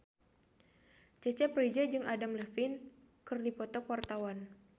Cecep Reza jeung Adam Levine keur dipoto ku wartawan